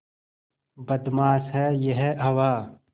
बदमाश है यह हवा